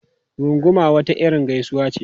Runguma wata irin gaisuwa ce.